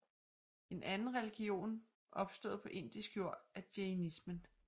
En anden religion opstået på indisk jord er jainismen